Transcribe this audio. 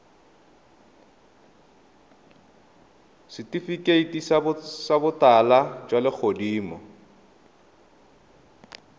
setifikeiti sa botala jwa legodimo